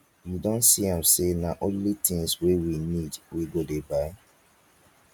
you don see am sey na only tins wey we need we go dey buy